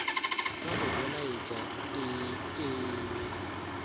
sa go belaetša ee e